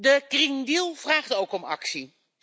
De Green Deal vraagt ook om actie.